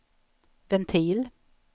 ventil